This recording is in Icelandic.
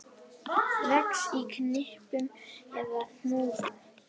Vex í knippum eða hnúðum.